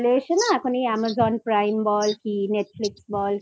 এসে না এখন এই Amazon Prime বল কি Netflix বল